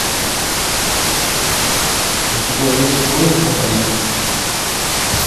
у тебя есть поезд на париж